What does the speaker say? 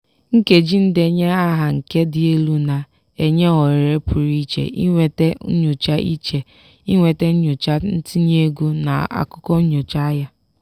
nkeji ndenye aha nke dị elu na-enye ohere pụrụ iche inweta nyocha iche inweta nyocha ntinye ego na akụkọ nyocha ahịa.